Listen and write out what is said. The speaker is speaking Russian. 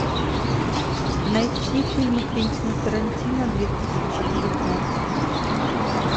найти фильмы квентина тарантино две тысячи девятнадцать